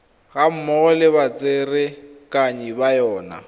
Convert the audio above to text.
gammogo le batsereganyi ba yona